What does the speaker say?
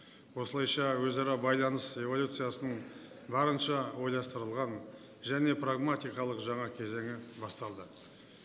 осылайша өзара байланыс революциясын барынша ойластырылған және прагматикалық жаңа кезеңі басталды